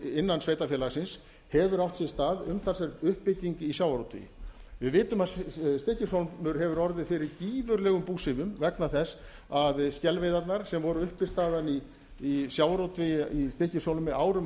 innan sveitarfélagsins hefur átt sér stað umtalsverð uppbygging í sjávarútvegi við vitum að stykkishólmur hefur orðið fyrir gífurlegum búsifjum vegna þess að skelveiðarnar sem voru uppistaðan í sjávarútvegi í stykkishólmi árum og